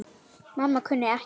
Mamma kunni ekkert.